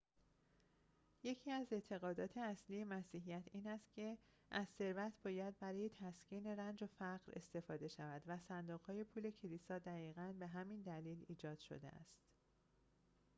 یکی از اعتقادات اصلی مسیحیت این است که از ثروت باید برای تسکین رنج و فقر استفاده شود و صندوق‌های پول کلیسا دقیقاً به همین دلیل ایجاد شده است